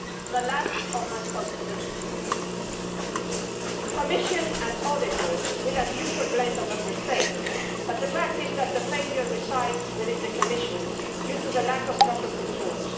The lack of responsibility. The Commission and the auditors will, as usual, blame the Member States, but the fact is that the failure resides within the Commission due to the lack of proper controls.